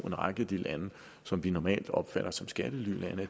række af de lande som vi normalt opfatter som skattelylande